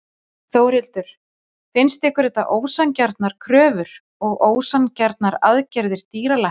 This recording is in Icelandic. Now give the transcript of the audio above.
Þórhildur: Finnst ykkur þetta ósanngjarnar kröfur og ósanngjarnar aðgerðir dýralækna?